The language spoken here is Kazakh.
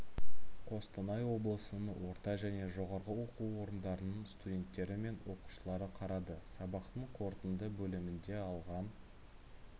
қостанай облысының орта және жоғары оқу орындарының студенттері мен оқушылары қарады сабақтың қорытынды бөлімінде алған